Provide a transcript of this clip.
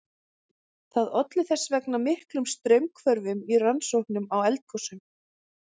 Það olli þess vegna miklum straumhvörfum í rannsóknum á eldgosum.